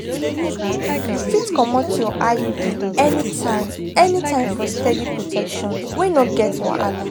you fit comot your iud anytime anytime for steady protection wey no get wahala.